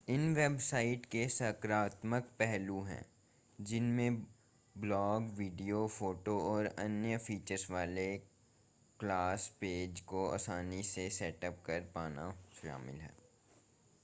इन websites के सकारात्मक पहलू हैं जिनमें ब्लॉग वीडियो फ़ोटो और अन्य फ़ीचर्स वाले क्लास पेज को आसानी से सेटअप कर पाना शामिल है